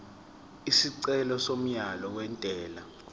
isicelo somyalo wentela